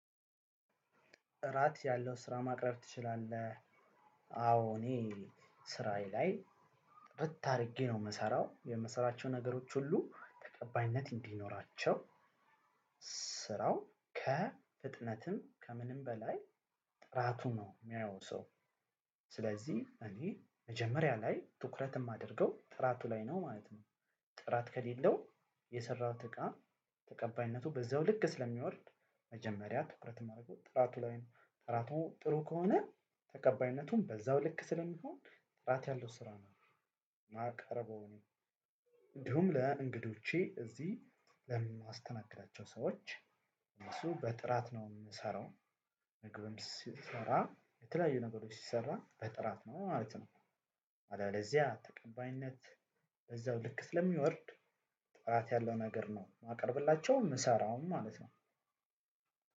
ጥራት ያለው ስራ ማቅረብ ትችላለህ አዎ እኔ ስራዬ ላይ ጥርት አድርጌ ነው የምሰራው የምሰራቸው ነገሮች ሁሉ ተቀባይነት እንዲኖራቸው ስራው ከፍጥነትም ከምንም በላይ ጥራቱ ነው የሚያየው ሰው ስለዚህ እኔ መጀመሪያ ላይ ትኩረት የማደርገው ጥራቱ ላይ ነው ማለት ነው። ጥራት ከሌለው የሰራሁት እቃ ተቀባይነቱ በዛው ልክ ስለሚወርድ መጀመሪያ ትኩረት የማደርገው ጥራቱ ላይ ነው ጠራቱ ጥሩ ከሆነ ተቀባይነቱን በዛው ልክ ስለሚሆን ጥራት ያለው ስራ ነው ማቀርበው ነው። እንዲሁም ለእንግዶቼ እዚህ ለማስተናግዳቸው ሰዎች እነሱ በጥራት ነው የምሰራው ምግብም ሲሰራ የተለያዩ ነገሮች ሲሰራ በጥራት ነው ማለት ነው። አለበለዚያ ተቀባይነት በዛው ልክ ስለሚወርድ ትራት ያለው ነገር ነው የማቀርብላቸው ምሰራውም ማለት ነው።